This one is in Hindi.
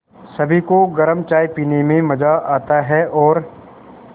सभी को गरम चाय पीने में मज़ा आता है और